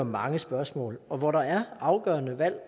mange spørgsmål og hvor der også er afgørende valg